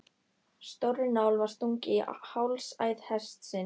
Stórri nál var stungið í hálsæð hestsins.